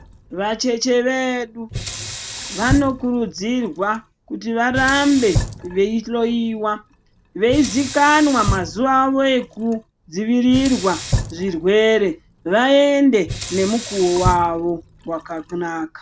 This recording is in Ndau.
Vacheche vedu vanokurudzirwa kuti varambe veihloiwa veizikanwa mazuwa avo ekudzivirirwa zvirwere vaende nemukuwo wavo wakanaka.